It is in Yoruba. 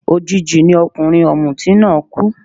Òjijì ni ọkùnrin ọ̀mùtí náà kú